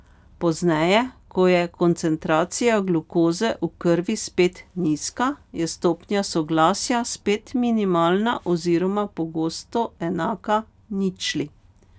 Pozneje, ko je koncentracija glukoze v krvi spet nizka, je stopnja soglasja spet minimalna oziroma pogosto enaka ničli.